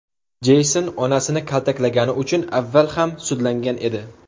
Jeyson onasini kaltaklagani uchun avval ham sudlangan edi.